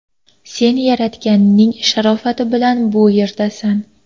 Sen Yaratganning sharofati bilan bu yerdasan”.